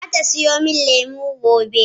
Zata siyo min lemu gobe.